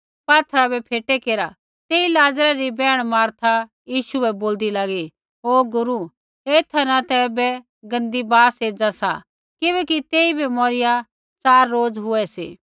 यीशुऐ बोलू पात्थरा बै फेटे केरा तेई लाज़रै री बैहण मार्था यीशु बै बोल्दी लागी ओ गुरू ऐथा न ता ऐबै गंदी बास एज़ा सा किबैकि तेइबै मोरिया च़ार रोज हुऐ सी